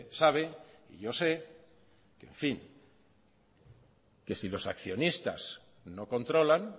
sabe y yo sé que si los accionistas no controlan